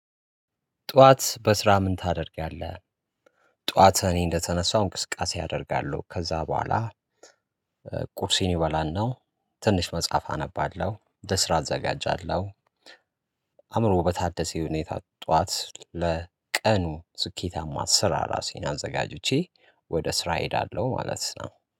ጠዋት በስራ ምን ታደርጊያለህ? ጠዋት እኔ እንደተነሳው እንቅስቃሴ አደርጋለሁ ከዛ በኋላ ቁርሴን እበላናው ትንሽ መጽሐፍ አነባለሁ ለስራ እዘጋጃለሁ። አእምሮ በታደሰው ሁኔታ ጠዋት ለቀኑ ስኬታማ ስራ ራሴን አዘጋጅቼ ወደ ስራ እሄዳለሁ ማለት ነው።